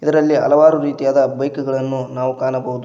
ಇದರಲ್ಲಿ ಹಲವಾರು ರೀತಿಯ ಬೈಕ್ ಗಳನ್ನು ಕಾಣಬಹುದು.